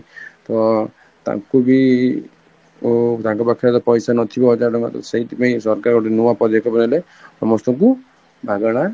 ତ ତାଙ୍କୁ ବି ଅ ତାଙ୍କ ପାଖରେ ପଇସା ନଥିବ ହଜାର ତାଙ୍କ ତ ୱାସେଇଠି ପାଇଁ ସରକାର ଗୋଟେ ନୂଆ ବାନେଇଲେ ସମସ୍ତଙ୍କୁ ମାଗଣା